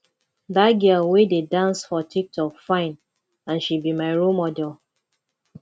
dat girl wey dey dance for tik tok fine and she be my role model